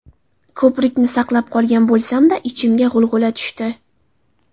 Ko‘prikni saqlab qolgan bo‘lsam-da, ichimga g‘ulg‘ula tushdi.